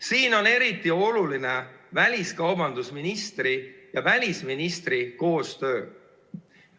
Siin on eriti oluline väliskaubandusministri ja välisministri koostöö.